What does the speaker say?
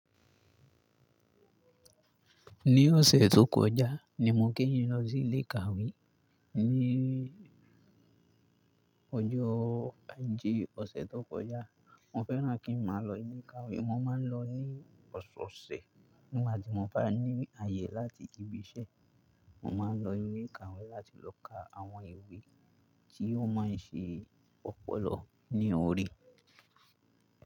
Ní ọ̀sẹ̀ tó kọjá ni mo ke yín lọ sí ilé ìkàwé. Ní ọjọ́ ajé ọ̀sẹ̀ tó kọjá, mo fẹ́ràn kí n má lọ ilé ìkàwé. Mo máa ń lọ ní ọ̀sọ̀ọ̀sẹ̀ nígbà tí mo bá ní àyè láti ibi iṣẹ́. Mo máa ń lọ ilé ìkàwé láti lọ ka àwọn ìwé tí ó máa ń ṣe ọpọlọ ní orí.